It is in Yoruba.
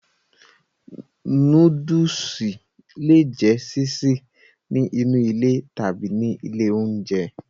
Nóódùsì le è jẹ́ sísè ní inú ilé tàbí ní ilé oúnjẹ